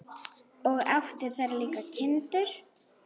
Og átti þar líka kindur.